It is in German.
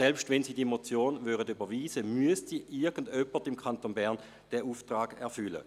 Selbst wenn Sie diese Motion überweisen würden, müsste irgendjemand im Kanton Bern diesen Auftrag erfüllen.